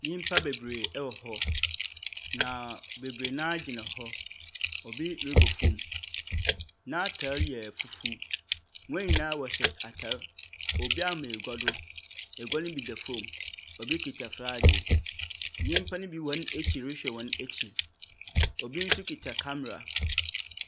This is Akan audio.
Nyimpa beberee wɔ hɔ, na beberee no ara gyina hɔ, obi robɔ fam. N’atar yɛ fufuw, hɔn nyina wɔhyɛ atar, obi ama egua do, egua no bi da fam, obi kitsa flaage, nyimpa ne bi hɔn ekyir rehwɛ hɔn ekyir. Obi nso kitsa camera.